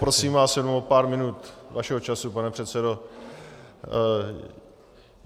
Poprosím vás jenom o pár minut vašeho času, pane předsedo.